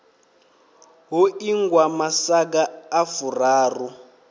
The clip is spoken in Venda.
ho ingwa masaga a furaru